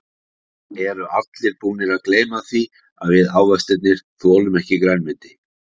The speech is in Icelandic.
Eru allir búnir að gleyma því að við ávextirnir þolum ekki grænmeti.